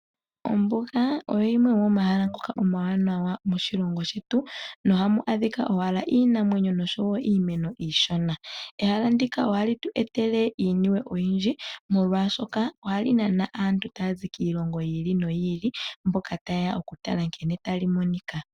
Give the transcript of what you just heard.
Ombuga oyo yimwe yomomahala ngoka omawanawa moshilongo shetu na ohamu adhika owala iinamwenyo nosho woo iimeno iishona. Ehala ndika ohali tu e tele iinima oyindji molwaashoka ohali nana aantu taya zi kiilongo yi ili noyi ili mboka taye ya okutala nkene tali monika.